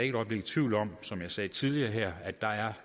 et øjeblik i tvivl om som jeg sagde tidligere her at der er